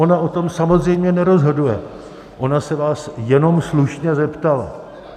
Ona o tom samozřejmě nerozhoduje, ona se vás jenom slušně zeptala.